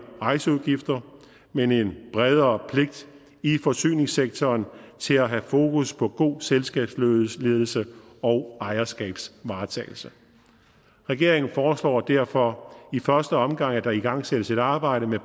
rejseudgifter men en bredere pligt i forsyningssektoren til at have fokus på god selskabsledelse og ejerskabsvaretagelse regeringen foreslår derfor i første omgang at der igangsættes et arbejde med